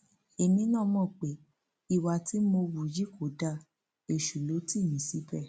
èmi náà mọ pé ìwà tí mo hù yí kò dáa èṣù ló tì mí síbẹ